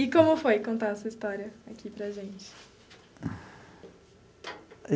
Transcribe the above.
E como foi contar a sua história aqui para a gente?